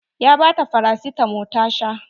Ya bata farasitamo ta sha.